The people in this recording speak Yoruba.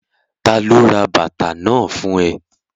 Ta ló ra bàtà náà fún ẹ?